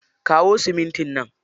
Kayo simintin nan.